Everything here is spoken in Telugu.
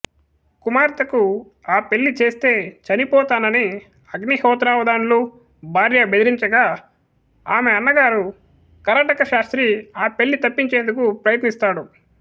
కుమార్తెకు ఆ పెళ్ళి చేస్తే చనిపోతానని అగ్నిహోత్రావధాన్లు భార్య బెదిరించగా ఆమె అన్నగారు కరటకశాస్త్రి ఆ పెళ్ళి తప్పించేందుకు ప్రయత్నిస్తాడు